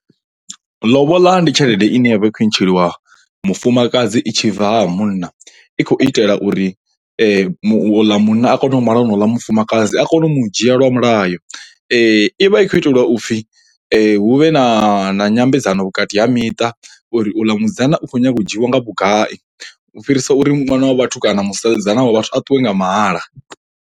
Lobola ndi tshelede ine ya vha i khou ntsheliwa mufumakadzi i tshi bva ha munna i khou itela uri u ḽa munna a kone u mala honouḽa mufumakadzi a kone u mu dzhia lwa mulayo. I vha i khou itelwa upfhi hu vhe na na nyambedzano vhukati ha miṱa uri u ḽa musidzana u khou nyaga u dzhiwa nga vhugai u fhirisa uri ṅwana wa vhathu kana musidzana wa vhathu a ṱuwe nga mahala.